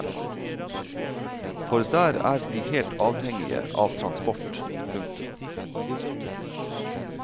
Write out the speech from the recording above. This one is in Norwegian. For der er de helt avhengige av transport. punktum